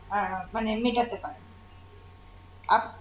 আহ আহ মানে মেটাতে পারেন আপ